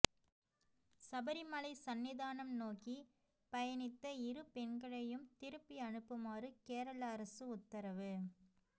சபரிமலை சன்னிதானம் நோக்கி பயணித்த இரு பெண்களையும் திருப்பி அனுப்புமாறு கேரள அரசு உத்தரவு